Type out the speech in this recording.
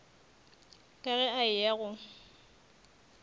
ka ge a eya go